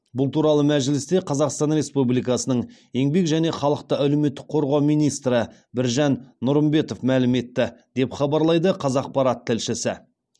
бұл туралы мәжілісте қазақстан республикасының еңбек және халықты әлеуметтік қорғау министрі біржан нұрымбетов мәлім етті деп хабарлайды қазақпарат тілшісі